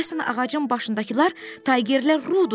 Deyəsən ağacın başındakılar taygerlər Rudur.